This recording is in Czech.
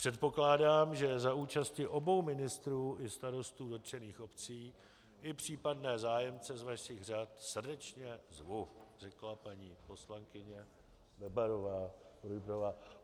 Předpokládám, že za účasti obou ministrů i starostů dotčených obcí, i případné zájemce z vašich řad srdečně zvu, řekla paní poslankyně Bebarová Rujbrová.